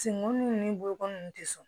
Senko nun ni bolokoli ninnu tɛ sɔn